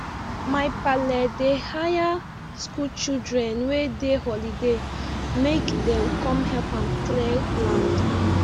my pale dey hire school children wey dey holiday make them come help am clear land